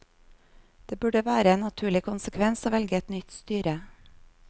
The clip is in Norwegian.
Det burde vært en naturlig konsekvens å velge et nytt styre.